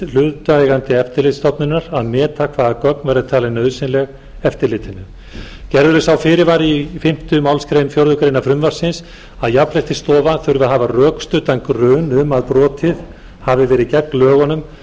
hlutaðeigandi eftirlitsstofnunar að meta hvaða gögn verði talin nauðsynleg eftirlitinu gerður er sá fyrirvari í fimmta málsgrein fjórðu grein frumvarpsins að jafnréttisstofa þurfi að hafa rökstuddan grun um að brotið hafi verið gegn lögunum